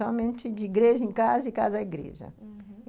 Somente de igreja em casa, de casa a igreja, uhum.